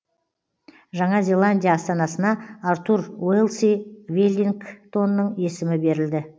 жаңа зеландия астанасына артур уэлси веллингтонның есімі берілді